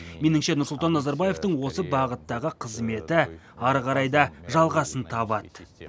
меніңше нұрсұлтан назарбаевтың осы бағыттағы қызметі әрі қарай да жалғасын табады